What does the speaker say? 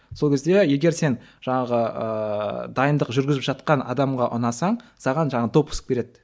сол кезде егер сен жаңағы ыыы дайындық жүргізіп жатқан адамға ұнасаң саған жаңағы допуск береді